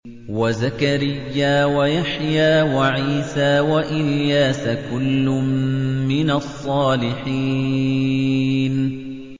وَزَكَرِيَّا وَيَحْيَىٰ وَعِيسَىٰ وَإِلْيَاسَ ۖ كُلٌّ مِّنَ الصَّالِحِينَ